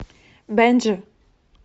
бенджи